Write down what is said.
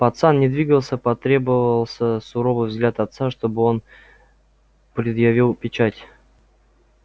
пацан не двигался потребовался суровый взгляд отца чтобы он предъявил печать